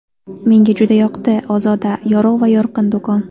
Menga juda yoqdi - ozoda, yorug‘ va yorqin do‘kon.